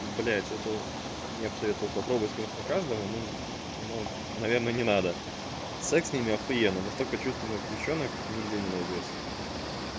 блять это я бы советовал попробовать конечно каждому но но наверное не надо секс с ними ахуенно настолько чувственных девчонок нигде не найдёте